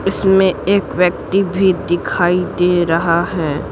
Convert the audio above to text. इसमें एक व्यक्ति भी दिखाई दे रहा है।